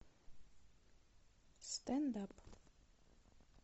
стендап